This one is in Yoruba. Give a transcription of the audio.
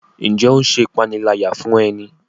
Njé o ṣe ìpaniláyà fún e ní?